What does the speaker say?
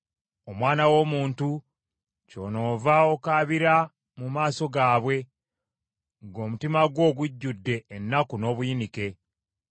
“Omwana w’omuntu, kyonoova okaabira mu maaso gaabwe ng’omutima gwo gujjudde ennaku n’obuyinike.